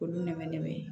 Olu nɛmɛ nɛmɛ